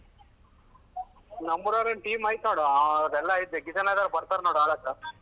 ನಮ್ಮೂರೋರಿನ್ team ಐತ್ ನೋಡು ಅದೆಲ್ಲ ಐತೆ ಬರ್ತಾರ್ ನೋಡು ಆಡಕ್ಕ.